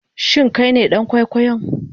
Shin Kai ne dan kwaikwayon?